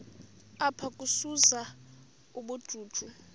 apha ukuzuza ubujuju